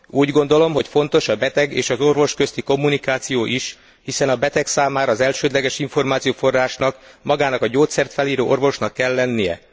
Úgy gondolom, hogy fontos a beteg és az orvos közti kommunikáció is, hiszen a beteg számára az elsődleges információforrásnak magának a gyógyszert felíró orvosnak kell lennie.